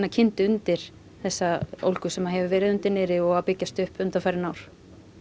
kyndi undir þessa ólgu sem hefur verið undir niðri og að byggjast upp undanfarin ár